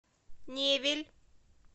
невель